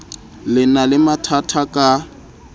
le na le mathatha ka